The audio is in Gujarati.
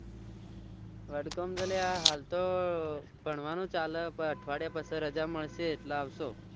વડગામ તો અલ્યા હાલ તો ભણવાનું ચાલે પણ અઠવાડિયા પછી રજા મળશે એટલે આવશો